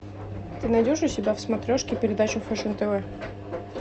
ты найдешь у себя в смотрешке передачу фэшн тв